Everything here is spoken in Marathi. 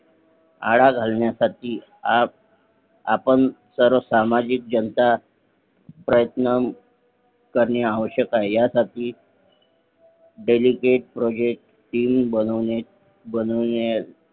आळा घालण्यासाठी आपण सर्व सामाजिक जनता प्रयत्न करणे आवश्यक आहे ह्या साठी Dedicate Project Team बनवणे